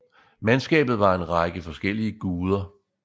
Mandskabet var en række forskellige guder